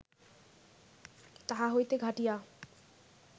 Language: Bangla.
তাহা হইতে ঘাটিঁয়া